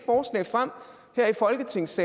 synes